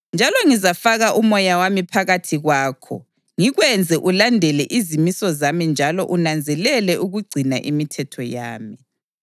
Njalo ngizafaka uMoya wami phakathi kwakho ngikwenze ulandele izimiso zami njalo unanzelele ukugcina imithetho yami.